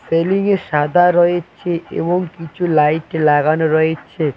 সাদা রয়েছে এবং কিছু লাইট লাগানো রয়েছে।